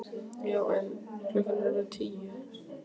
Já en. klukkan er að verða tíu!